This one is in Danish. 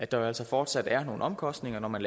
der jo altså fortsat er nogle omkostninger når man